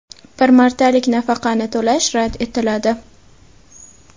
bir martalik nafaqani to‘lash rad etiladi).